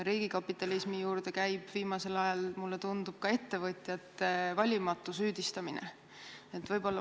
Riigikapitalismi juurde käib viimasel ajal, mulle tundub, ka ettevõtjate valimatu süüdistamine.